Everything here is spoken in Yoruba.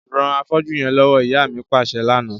Ran afọ́jú yẹn lọwọ, ìyá mi paṣẹ lana.